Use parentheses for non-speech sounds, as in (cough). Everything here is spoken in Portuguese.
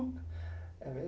(unintelligible) é mes